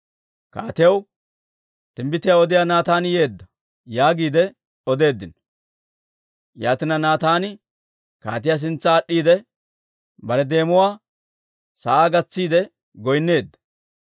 Kaatiyaw, «Timbbitiyaa odiyaa Naataani yeedda» yaagiide odeeddino. Yaatina, Naataani kaatiyaa sintsa aad'd'iide, bare deemuwaa sa'aa gatsiide goynneedda.